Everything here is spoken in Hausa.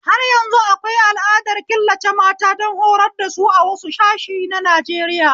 Har yanzu akwai al'adar killace mata don horar dasu a wasu sashe na Najeriya